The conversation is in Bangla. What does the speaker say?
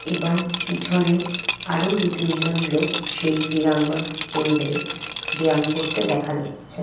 এবং পিছোনে আরও দুতিনজন লোক সেই ক্রীড়াঙ্গন কেন্দ্রেএ ব্যায়াম করতে দেখা যাচচ্ছে।